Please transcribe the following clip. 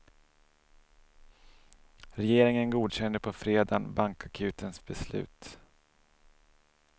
Regeringen godkände på fredagen bankakutens beslut.